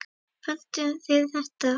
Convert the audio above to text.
Pöntuðu þið þetta?